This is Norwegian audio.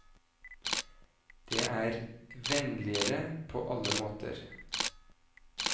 Det er vennligere på alle måter.